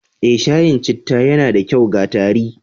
Eh, shayin citta yana da kyau ga tari